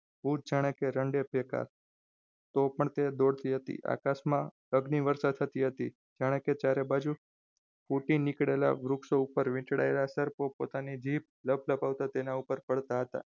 તો પણ તે દોઢી હતી આકાશમાં અગ્નિ વરસાદ થતી હતી. જાણે કે ચારે બાજુ ફૂટી નીકળેલા વૃક્ષો ઉપર વીંટળાયેલા સરકો પોતાની જીભ લપ લપાવતા તેના ઉપર પડતા હતા.